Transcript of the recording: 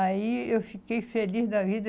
Aí eu fiquei feliz da vida.